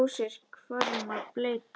Drósir hvarma bleyta.